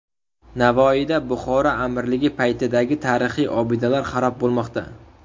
Navoiyda Buxoro amirligi paytidagi tarixiy obidalar xarob bo‘lmoqda .